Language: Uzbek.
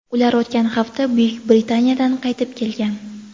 Ular o‘tgan hafta Buyuk Britaniyadan qaytib kelgan.